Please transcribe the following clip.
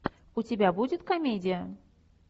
у тебя будет комедия